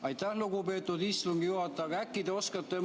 Aitäh, lugupeetud istungi juhataja!